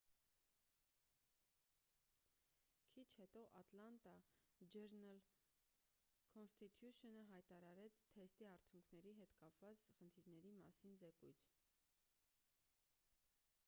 քիչ հետո ատլանտա ջըրնըլ-քոնսթիթյուշընը հրատարակեց թեստի արդյունքների հետ կապված խնդիրների մասին զեկույց